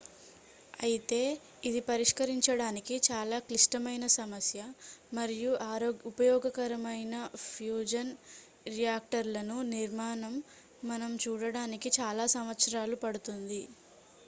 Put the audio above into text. అయితే ఇది పరిష్కరించడానికి చాలా క్లిష్టమైన సమస్య మరియు ఉపయోగకరమైన ఫ్యూజన్ రియాక్టర్లను నిర్మాణం మనం చూడటానికి చాలా సంవత్సరాలు పడుతుంది